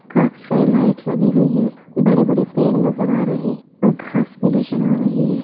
काफी सारी लाइटिस लगी हुई हैं बड़े बड़े पेड़ नजर आ रहें और घास भी नजर आ रहीं हैं ।